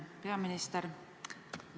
Peaminister!